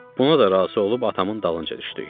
Buna da razı olub atamın dalınca düşdük.